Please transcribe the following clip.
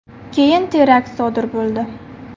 Keyin terakt sodir bo‘ldi.